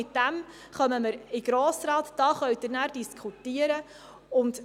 Mit diesem Vorschlag werden wir in den Grossen Rat kommen, und darüber werden Sie diskutieren können.